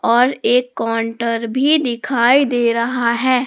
और एक कॉन्टर भी दिखाई दे रहा है।